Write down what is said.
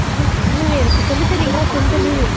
miss உண்மையாவே எனக்கு சொல்லித்தரிங்களா செந்த்தமிழ்